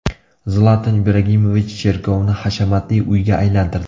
Zlatan Ibragimovich cherkovni hashamatli uyga aylantirdi.